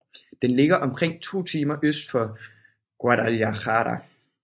Den ligger omkring to timer øst for Guadalajara